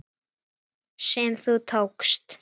sem þú tókst.